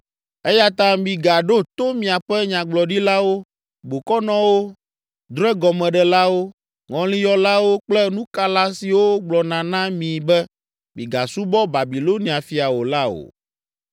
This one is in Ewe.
Eya ta migaɖo to miaƒe nyagblɔɖilawo, bokɔnɔwo, drɔ̃egɔmeɖelawo, ŋɔliyɔlawo kple nukala siwo gblɔna na mi be, ‘Migasubɔ Babilonia fia o’ la o.